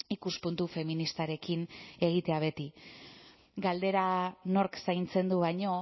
ikuspuntu feministarekin egitea beti galdera nork zaintzen du baino